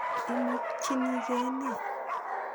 Imokchini ke ne?